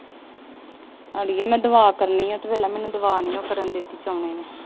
ਅੜੀਏ ਮੈਂ ਦੁਆ ਕਰਨੀ ਆ, ਤੂੰ ਪਹਿਲਾਂ ਮੈਨੂੰ ਦੁਆ ਨੀ ਕਰਨ ਦਿੱਤੀ।